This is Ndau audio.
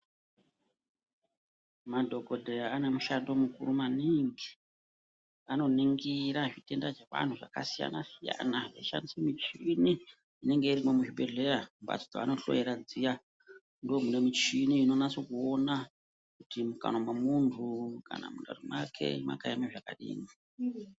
Madhokodheya ano mushando mukuru maningi. Anoningira zvitenda zvevanhu zvakasiyana-siyana achishandise michini inenge irimo muzvibhedhleya, mumbatso dzavanohloyera dziya. Ndomune michini inonaso kuona kuti mumukanwa memuntu, kana mundani mwake makaeme zvakadini.